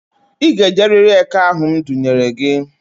I ga-ejerịrị eke ahụ m dunyere gị!